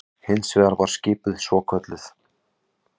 Hins vegar var skipuð svokölluð